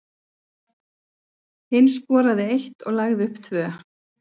Hinn skoraði eitt og lagði upp tvö.